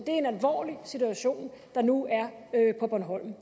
en alvorlig situation der nu er på bornholm